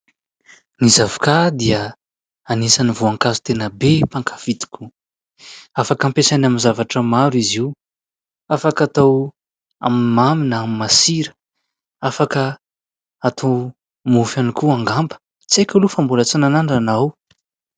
Ny zavokà dia anisany voankazo tena be mpankafỳ tokoa, afaka ampiasaina amin'ny zavatra maro izy io, afaka atao amin'ny mamy na amin'ny masira, afaka atao mofo ihany ko angamba, tsy aiko aloha fa mbola tsy nanandrana aho.